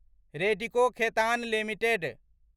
Radico Khaitan limited